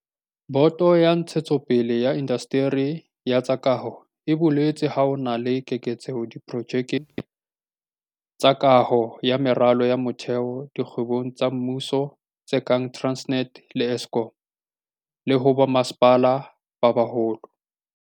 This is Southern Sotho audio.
Boto ya Ntshetsopele ya Indasteri ya tsa Kaho e boletse ha ho na le keketseho diprojekeng tsa kaho ya meralo ya motheo dikgwebong tsa mmuso tse kang Transnet le Eskom, le ho bommasepala ba baholo.